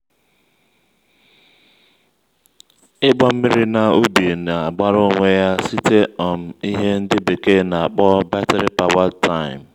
ịgba mmiri na ubi na-agbara onwe ya site um ihe ndị bekee na-akpọ batiri powered time